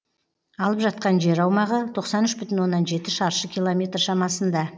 алып жатқан жер аумағы тоқсан үш бүтін оннан жеті шаршы километр шамасында